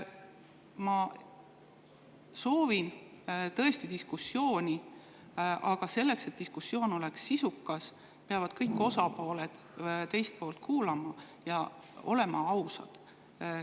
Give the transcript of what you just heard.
Ma soovin tõesti diskussiooni, aga selleks, et diskussioon oleks sisukas, peavad kõik osapooled teist poolt kuulama ja olema ausad.